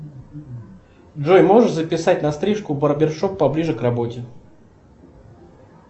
джой можешь записать на стрижку в барбершоп поближе к работе